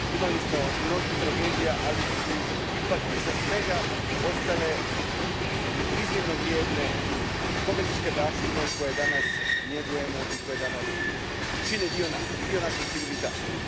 Imali smo mnogo tragedija, ali su ipak iza svega ostale iznimno vrijedne spomeničke baštine, koje danas njegujemo i koje čine dio nas, dio naše civilizacije.